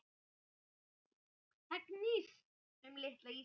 Það snýst um litla Ísland.